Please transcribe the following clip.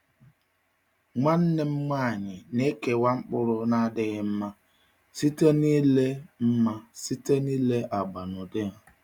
Nwanne m nwanyị na-ekewa mkpụrụ na-adịghị mma site n’ile mma site n’ile agba na ụdị ha.